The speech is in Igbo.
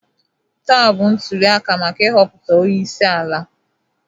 Taa bụ ntụliaka maka ị họputa ọnyeisi ala.